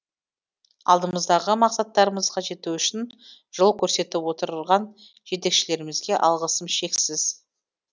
алдымыздағы мақсаттарымызға жету үшін жол көрсетіп отырған жетекшілерімізге алғысым шексіз